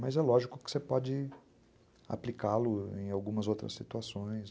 Mas é lógico que você pode aplicá-lo em algumas outras situações.